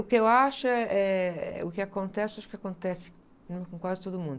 O que eu acho é, eh, o que acontece, acho que acontece com com quase todo mundo.